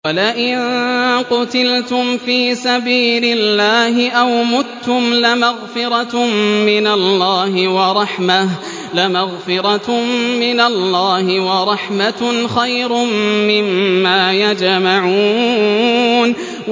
وَلَئِن قُتِلْتُمْ فِي سَبِيلِ اللَّهِ أَوْ مُتُّمْ لَمَغْفِرَةٌ مِّنَ اللَّهِ وَرَحْمَةٌ خَيْرٌ مِّمَّا يَجْمَعُونَ